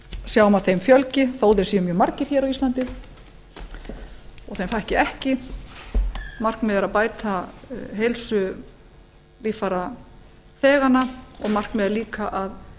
sjáum að þeim fjölgi þó þeir séu mjög margir á íslandi og þeim fækki ekki markmiðið er að bæta heilsu líffærabeiðanna og markmið líka að